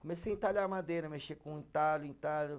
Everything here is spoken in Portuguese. Comecei a entalhar madeira, mexer com entalho, entalho.